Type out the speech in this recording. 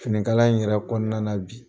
Finikala in yɛrɛ kɔnɔna na bi